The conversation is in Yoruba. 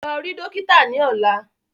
Lọ rí dókítà ni ọ̀la!